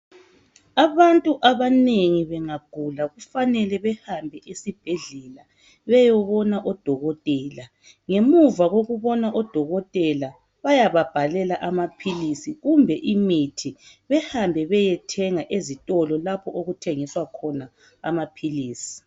Abantu abanengi bengagula, kufanele bahambe esibhedlela, beyebona odokotela. Ngemuva kokubona odokotela, bayababhalela amaphilisi, kumbe imithi. Bahambe bayethenga ezitolo. Lapho okuthengiswa khona amaphilisi.